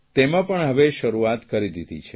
તેમાં પણ હવે શરૂઆત કરી દીધી છે